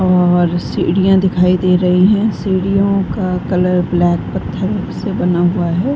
और सीढ़ियां दिखाई दे रही हैं और सीढि़यों का कलर ब्लैक पत्थरों से बना हुआ हैं।